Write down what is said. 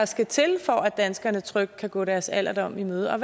skal til for at danskerne trygt kan gå deres alderdom i møde og